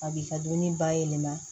A b'i ka dumuni bayɛlɛma